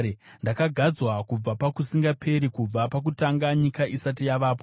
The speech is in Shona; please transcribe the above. ndakagadzwa kubva pakusingaperi, kubva pakutanga, nyika isati yavapo.